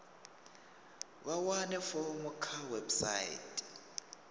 vha wane fomo kha website